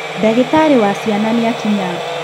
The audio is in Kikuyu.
Ndagĩtarĩ wa ciana nĩakinya